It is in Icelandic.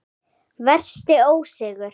Versti ósigur?